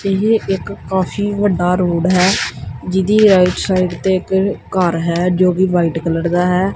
ਇਹ ਇੱਕ ਕਾਫੀ ਵੱਡਾ ਰੋਡ ਹੈ ਜਿਹਦੀ ਰਾਈਟ ਸਾਈਡ ਤੇ ਇੱਕ ਘਰ ਹੈ ਜੋ ਵੀ ਵਾਈਟ ਕਲਰ ਦਾ ਹੈ।